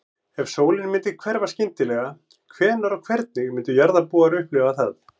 Ef sólin myndi hverfa skyndilega, hvenær og hvernig myndu jarðarbúar upplifa það?